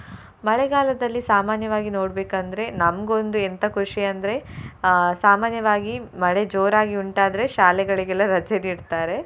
ಮಳೆಗಾಲದಲ್ಲಿ ಸಾಮಾನ್ಯವಾಗಿ ನೋಡ್ಬೇಕಂದ್ರೆ ನಂಗೊಂದು ಎಂಥ ಖುಷಿ ಅಂದ್ರೆ ಅಹ್ ಸಾಮಾನ್ಯವಾಗಿ ಮಳೆ ಜೋರಾಗಿ ಉಂಟಾದ್ರೆ ಶಾಲೆಗಳಿಗೆಲ್ಲ ರಜೆ ನೀಡ್ತಾರೆ.